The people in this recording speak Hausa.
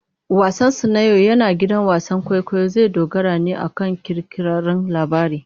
Wasansu na yau a gidan wasan kwaikwayo zai dogara ne akan kirkirarren labari.